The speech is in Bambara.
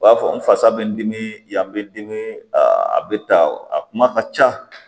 U b'a fɔ n fasa bɛ n dimi yan n bɛ dimi a bɛ ta a kuma ka ca